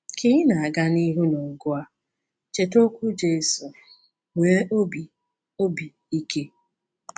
Ka ị na-aga n’ihu n’ọgụ a, cheta okwu Jesu: “Nwee obi obi ike!